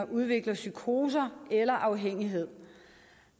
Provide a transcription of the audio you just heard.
udvikler psykoser eller afhængighed